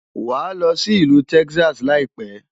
Wàá lọ sí ìlú Texas láìpẹ́.